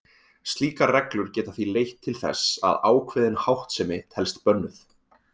Slíkar reglur geta því leitt til þess að ákveðin háttsemi telst bönnuð.